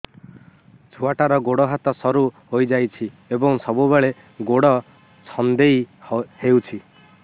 ଛୁଆଟାର ଗୋଡ଼ ହାତ ସରୁ ହୋଇଯାଇଛି ଏବଂ ସବୁବେଳେ ଗୋଡ଼ ଛଂଦେଇ ହେଉଛି